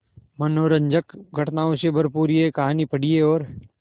मनोरंजक घटनाओं से भरपूर यह कहानी पढ़िए और